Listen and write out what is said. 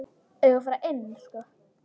Eigum við að fara inn?